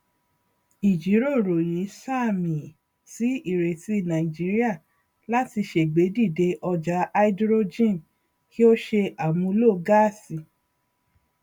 ìjírọrọ yìí sààmì sí ìrètí nàìjíría láti ṣègbèdíde ọjà háídírójìn kí ó ṣe àmúlò gáàsì